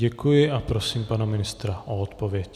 Děkuji a prosím pana ministra o odpověď.